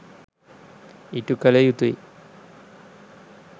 ඉටු කළ යුතුයි.